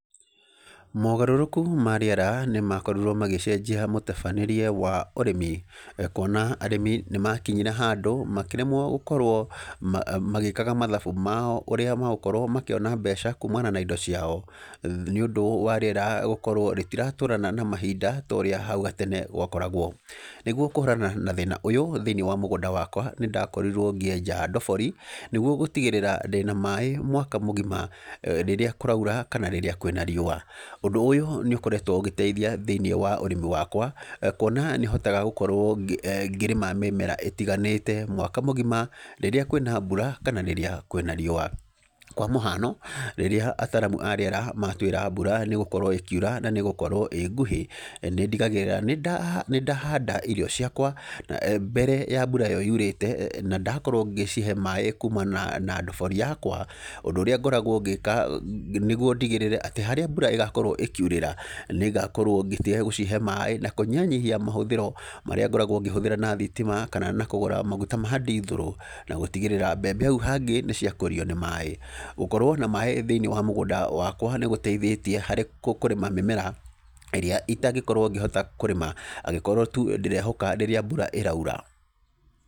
Mogarũrũku ma rĩera nĩ makorirwo magĩcenjia mũtabanĩrie wa ũrĩmi, kuona arĩmi nĩ makinyire handũ makĩremwo gũkorwo magĩkaga mathabu mao ũrĩa magũkorwo makĩona mbeca kumana na indo ciao. Nĩ ũndũ wa rĩera gũkorwo rĩtiratwarana na mahinda ta ũrĩa hau gatene gwakoragwo. Nĩguo kũhũrana na thĩna ũyũ thĩiniĩ wa mũgũnda wakwa, nĩ ndakorirwo ngĩenja ndobori, nĩguo gũtigĩrĩra ndĩna maĩ mwaka mũgima. Rĩrĩa kũraura kana rĩrĩa kwĩna riũa. Ũndũ ũyũ nĩ ũkoretwo ũgĩteithia thĩiniĩ wa ũrĩmi wakwa, kuona nĩ hotaga gũkorwo eeh ngĩrĩma mĩmera ĩtiganĩte mwaka mũgima, rĩrĩa kwĩ na mbura kana rĩrĩa kwĩ na riũa. Kwa mũhano, rĩrĩa ataaramu a rĩera matwĩra mbura nĩ ĩgũkorwo ĩkiura na nĩ ĩgũkorwo ĩĩ nguhĩ, nĩ ndigagĩrĩra nĩ nĩ ndahanda irio ciakwa, mbere ya mbura ĩyo yurĩte, na ndakorwo ngĩcihe maĩ kumana na ndobori yakwa, ũndũ ũrĩa ngoragwo ngĩka, nĩguo ndigĩrĩre atĩ harĩa mbura ĩgakorwo ĩkiurĩra, nĩ ngakorwo ngĩtiga gũcihe maĩ na kũnyihanyihia mahũthĩro marĩa ngoragwo ngĩhũthĩra na thitima, kana na kũgũra maguta ma ndithũrũ, na gũtigĩrĩra mbembe hau hangĩ nĩ ciakũrio nĩ maĩ. Gũkorwo na maĩ thĩiniĩ wa mũgũnda wakwa nĩ gũteithĩtie harĩ kũrĩma mĩmera ĩrĩa itangĩkorwo ngĩhota kũrĩma, angĩkorwo tu ndĩrehoka tu rĩrĩa mbura ĩraura.